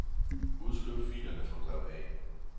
Udskriv filerne fra drev A.